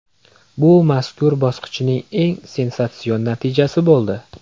Bu mazkur bosqichning eng sensatsion natijasi bo‘ldi.